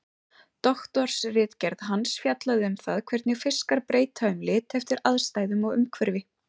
Doktorsritgerð hans fjallaði um það hvernig fiskar breyta um lit eftir aðstæðum og umhverfi.